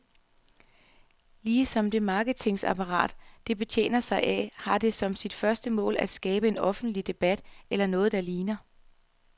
Ligesom det marketingapparat, det betjener sig af, har det som sit første mål at skabe en offentlig debat, eller noget der ligner.